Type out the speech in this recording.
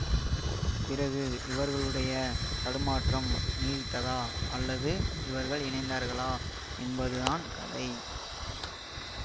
பிறகு இவர்களுடைய தடுமாற்றம் நீடித்ததா அல்லது இவர்கள் இணைந்தார்களா என்பது தான் கதை